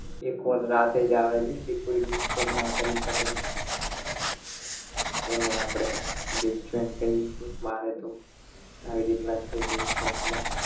એ call રાતે જ આવે છે કે કોઇ disturb ના કરી શકે એમએ આપણે best friend કહીએ છીએ મારે તો આવી રીતના છે best friend માં